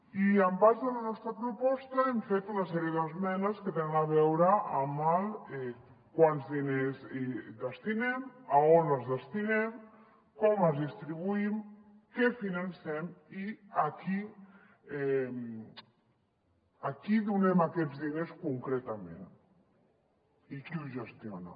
i en base a la nostra proposta hem fet una sèrie d’esmenes que tenen a veure amb quants diners hi destinem a on els destinem com els distribuïm què financem i a qui donem aquests diners concretament i qui ho gestiona